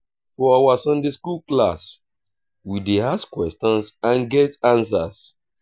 for our sunday skool class we dey ask questions and get answers